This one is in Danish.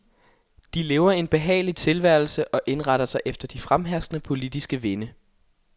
De lever en behagelig tilværelse og indretter sig efter de fremherskende politiske vinde.